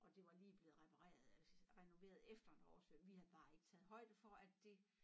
Og det var lige blevet repareret altså renoveret efter en oversvømning vi havde bare ikke taget højde for at det